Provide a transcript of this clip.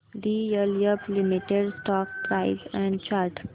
DLF limited stock price and chart